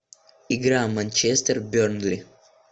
игра манчестер бернли